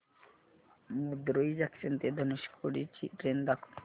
Madurai junction ते धनुषकोडी ची train दाखव